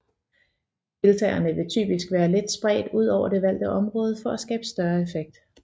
Deltagerne vil typisk være let spredt ud over det valgte område for at skabe størst effekt